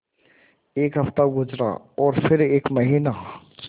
एक हफ़्ता गुज़रा और फिर एक महीना